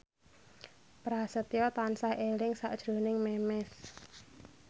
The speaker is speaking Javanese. Prasetyo tansah eling sakjroning Memes